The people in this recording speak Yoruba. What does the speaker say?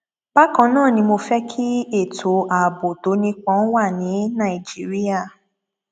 bákan náà ni mo fẹ kí ètò ààbò tó nípọn wà ní nàìjíríà